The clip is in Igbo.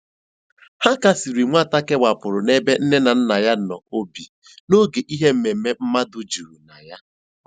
Ha kasiri nwata kewapụrụ n'ebe nne na nna ya nọ obi n'oge ihe mmemme mmadụ juru na ya.